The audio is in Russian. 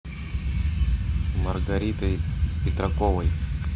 маргаритой петраковой